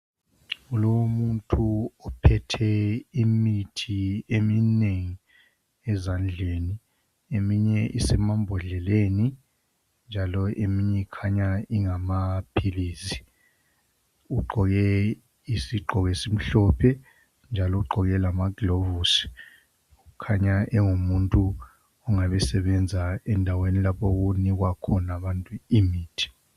Kulomuntu ophethe imithi eminengi ezandleni eminye isemambodleleni njalo eminye ikhanya ingamaphilizi Ugqoke izigqoko ezimhlophe njalo ugqoke lamaglovisi Kukhanya engumuntu ongabe esebenza endaweni lapho okunikwa khona imithi